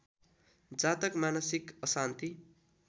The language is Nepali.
जातक मानसिक अशान्ति